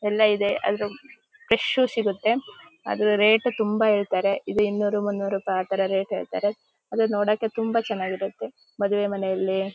ಎಲ್ಲಾ ಇದೆ ಆದರೆ ಫ್ರೆಶ್ಯು ಸಿಗುತ್ತೆ ಅದು ರೇಟು ತುಂಬಾ ಹೇಳ್ತಾರೆ ಇದು ಇನ್ನೂರು ಮುನ್ನೂರು ರೂಪಾಯಿ ರೇಟ್ ಹೇಳ್ತಾರೆ ಅದು ನೋಡಕ್ಕೆ ತುಂಬಾ ಚನ್ನಗಿರುತ್ತೆ ಮದುವೆ ಮನೇಲಿ --